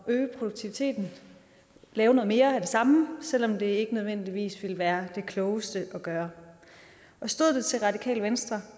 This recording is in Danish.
øge produktiviteten lave noget mere af det samme selv om det ikke nødvendigvis vil være det klogeste at gøre stod det til radikale venstre